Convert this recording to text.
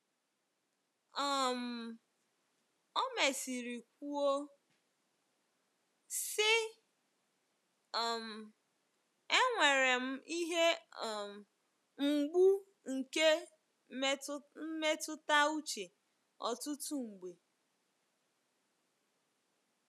um O mesịrị kwuo sị, um “ enwere m ihe um mgbu nke mmetụta uche ọtụtụ mgbe.